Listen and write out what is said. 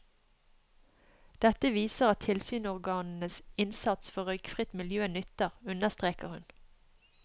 Dette viser at tilsynsorganenes innsats for røykfritt miljø nytter, understreker hun.